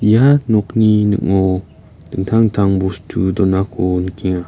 ia nokni ning·o dingtang dingtang bostu donako nikenga.